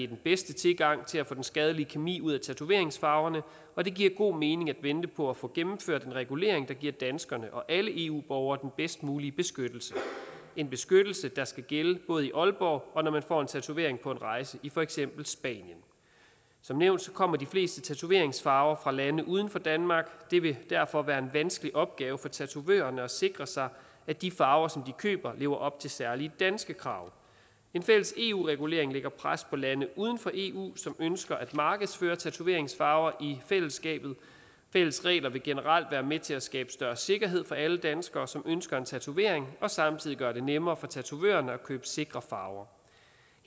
den bedste tilgang til at få den skadelige kemi ud af tatoveringsfarverne og det giver god mening at vente på at få gennemført en regulering der giver danskerne og alle eu borgere den bedst mulige beskyttelse en beskyttelse der skal gælde både i aalborg og når man får en tatovering på en rejse i for eksempel spanien som nævnt kommer de fleste tatoveringsfarver fra lande uden for danmark det vil derfor være en vanskelig opgave for tatovørerne at sikre sig at de farver som de køber lever op til særlige danske krav en fælles eu regulering lægger pres på lande uden for eu som ønsker at markedsføre tatoveringsfarver i fællesskabet fælles regler vil generelt være med til at skabe større sikkerhed for alle danskere som ønsker en tatovering og samtidig gøre det nemmere for tatovørerne at købe sikre farver